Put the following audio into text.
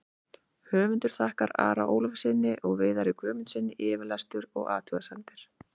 Höfundur þakkar Ara Ólafssyni og Viðari Guðmundssyni yfirlestur og athugasemdir.